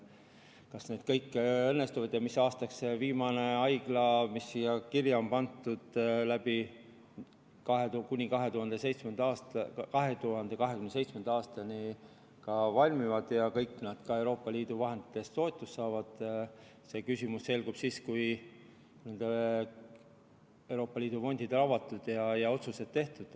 Kas kõik need investeeringud õnnestuvad ja mis aastaks viimane haigla valmib ja kas see kõik ka Euroopa Liidu vahenditest toetust saab, see selgub siis, kui Euroopa Liidu fondid on avatud ja otsused tehtud.